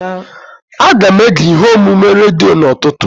Aga m ege ihe omume redio n'ụtụtụ.